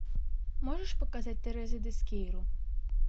можешь показать тереза дескейру